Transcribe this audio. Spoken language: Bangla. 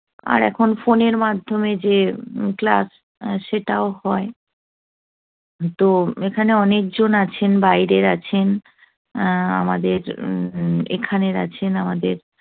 আর এখন phone এর মাধ্যমে যে class সেটাও হয়। তো এখানে অনেকজন আছেন, বাইরের আছেন, আহ আমাদের উম এখানের আছেন আমাদের